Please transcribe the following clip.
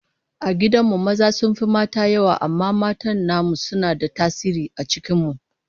A gidan mu maza sun fi mata yawa amma matan namu suna da tasiri a cikin mu